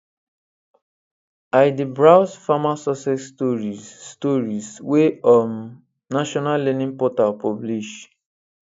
i dey browse farmer success stories stories wey um national learning portal publish